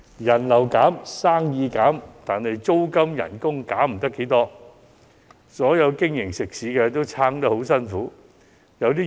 人流減、生意減，但租金及工資減不了多少，所有食肆都在苦苦支撐。